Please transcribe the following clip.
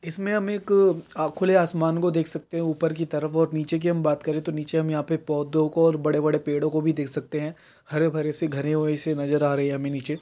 इसमें हम एक खुले आसमान को देख सकते हैं ऊपर की तरफ और नीचे की हम बात करें तो नीचे हम यहाँ पे पौधों को और बड़े-बड़े पेड़ों को देख सकते हैं हरे-भरे से घने और से नजर आ रहे हैं हमें नीचे।